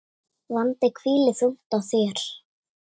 Vandi hvílir þungt á þér.